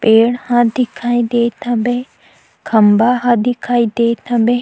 पेड़ ह दिखाई देत हवे खम्भा ह दिखाई देत हबे--